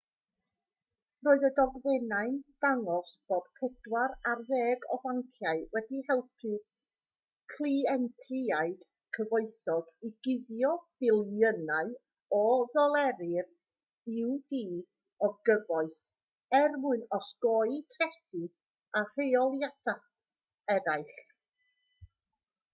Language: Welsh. roedd y dogfennau'n dangos bod pedwar ar ddeg o fanciau wedi helpu cleientiaid cyfoethog i guddio biliynau o ddoleri'r u.d. o gyfoeth er mwyn osgoi trethi a rheoliadau eraill